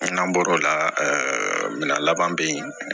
N'an bɔr'o la minan laban bɛ yen